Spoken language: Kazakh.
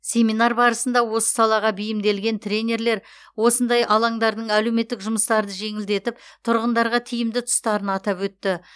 семинар барысында осы салаға бейімделген тренерлер осындай алаңдардың әлеуметтік жұмыстарды жеңілдетіп тұрғындарға тиімді тұстарын атап өтті